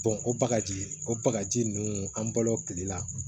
o bakaji o bagaji nunnu an balo kile la